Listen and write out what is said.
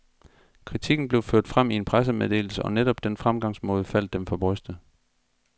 Kritikken blev ført frem i en pressemeddelse, og netop den fremgangsmåde faldt dem for brystet.